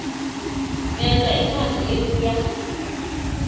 veza incwadi ebuya